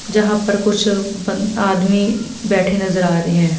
जहां पर कुछ बन आदमी बैठे नजर आ रहे हैं।